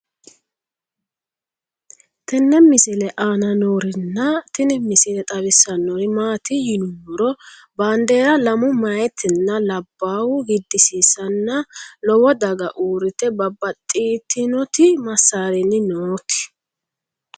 tenne misile aana noorina tini misile xawissannori maati yinummoro bandeera lamu mayiittinna labbahu gidisiissanna lowo dag uuritte babaxxittinnotti masaarinni nootti